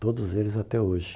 Todos eles até hoje.